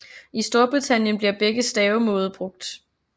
I Storbritannien bliver begge stavemåde brugt